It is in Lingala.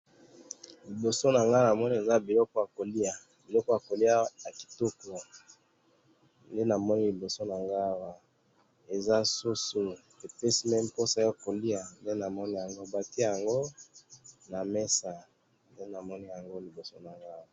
liboso na nga namoni eza biloko ya koliya, biloko ya koliya ya kitoko nde namoni liboso na nga awa eza soso epesi meme posa ya koliya nde namoni awa batiye yango na mesa nde namoni yango liboso nanga awa